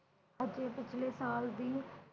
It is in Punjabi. ਅਗਲੇ ਪਿਛਲੇ ਸਾਲ ਦੀ